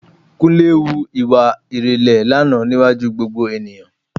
Kúnlé hu ìwà ìrẹ̀lẹ̀ lánàá níwájú gbogbo ènìyàn